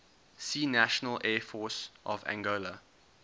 see national air force of angola